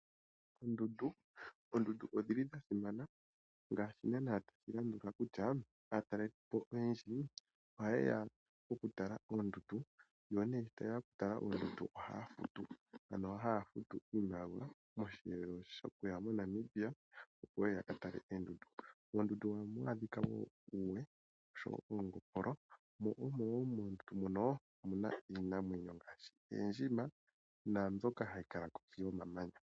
Oondundu, oondundu odhili dhasimana ngaashi naana atushilandula kutya aatalelipo oyendji ohaye ya okutala oondundu, yo nee sho taye ya okutala oondundu ohaya futu, ano haya futu iimaliwa poshiyelo shokuya moNamibia, opo yeye ya katale oondundu. Oondundu ohamu adhika wo uuwe, osho wo oongopolo mo omo woo moondundu mono, omu na iinamwenyo ngaashi oondjima naambyoka hayi kala kohi yomamanya.